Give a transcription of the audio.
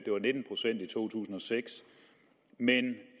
var nitten procent i to tusind og seks men